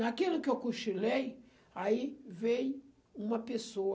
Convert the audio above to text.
Naquilo que eu cochilei, aí veio uma pessoa